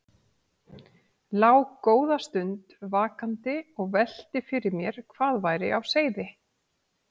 Lá góða stund vakandi og velti fyrir mér hvað væri á seyði.